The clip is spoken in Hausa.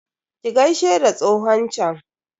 Ki gaishe da tsohon chan?